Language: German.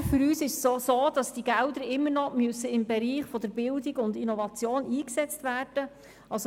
Aber für uns gilt auch, dass die Gelder weiterhin im Bereich der Bildung und Innovation eingesetzt werden müssen.